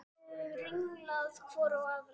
Við horfðum ringlaðar hvor á aðra.